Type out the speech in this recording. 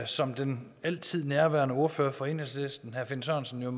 som den altid nærværende ordfører for enhedslisten herre finn sørensen jo